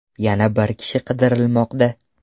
Yana bir kishi qidirilmoqda.